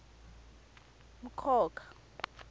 mkhokha